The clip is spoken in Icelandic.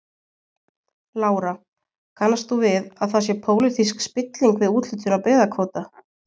Lára: Kannast þú við að það sé pólitísk spilling við úthlutun á byggðakvóta?